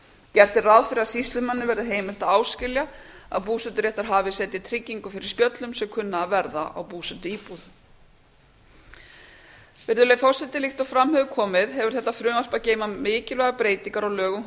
gert er ráð fyrir að sýslumanni verði heimilt að áskilja að búseturéttarhafi setji tryggingu fyrir spjöllum sem kunna að verða á búsetuíbúð líkt og fram hefur komið hefur þetta frumvarp að geyma mikilvægar breytingar á lögum um